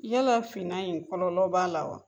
Yala finan in kɔlɔlɔ b'a la wa?